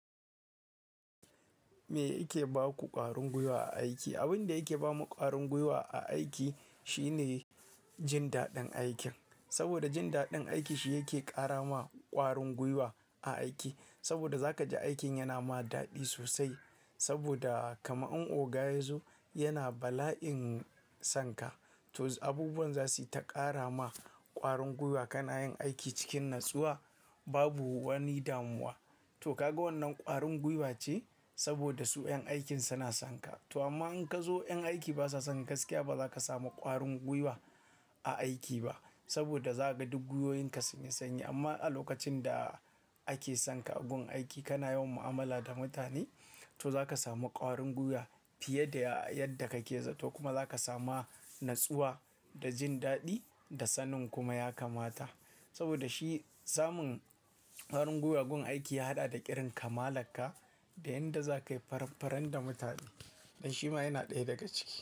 Me yake ba ku ƙwarin gwiwa a aiki? Abin da yake ba mu ƙwarin gwiwa a aiki shine jin daɗin aikin. Saboda jin daɗin aiki shi yake ƙara ma ƙwarin gwiwa a aiki. Saboda za ka ji aikin yana ma daɗi sosai. Saboda kama in oga ya zo yana bala'in san ka, to abubuwan za su yi ta ƙara ma ƙwarin gwiwa kana yin aiki cikin natsuwa, babu wani damuwa. To kaga wannan ƙwarin gwiwa ce saboda su 'yan aikin suna san ka. To amma in ka zo 'yan aiki ba sa san ka gaskiya ba za ka samu ƙwarin gwiwa a aiki ba. Saboda za ka ga duk guyoyin ka sunyi sanyi. Amma a lokacin da ake san ka a gun aiki kana yawan mu'amala da mutane, to za ka samu ƙwarin gwiwa fiye da yadda ka ke za. To kuma za ka sami natsuwa da jin daɗi da sanin kuma ya kamata. Saboda shi samun ƙwarin gwiwa gun aiki ya haɗa da irin kamala ka da yadda za ka yi faran-faran da mutane. Ɗan shi ma yana ɗaya daga ciki.